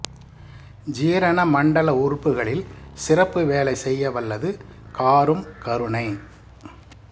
ஜீரண மண்டல உறுப்புகளில் சிறப்பு வேலை செய்ய வல்லது காரும் கருணை